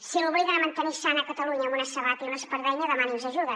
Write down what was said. si l’obliguen a mantenir sana catalunya amb una sabata i una espardenya demani’ns ajuda